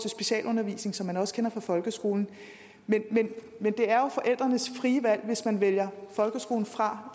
af specialundervisning som man også kender fra folkeskolen men det er jo forældrenes frie valg hvis man vælger folkeskolen fra